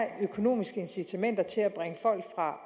økonomiske incitamenter til at bringe folk fra